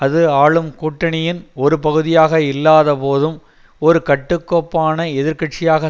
அது ஆளும் கூட்டணியின் ஒரு பகுதியாக இல்லாத போதும் ஒரு கட்டுக்கோப்பான எதிர்கட்சியாக